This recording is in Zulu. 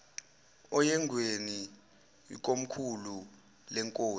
oyengweni ikomkhulu lenkosi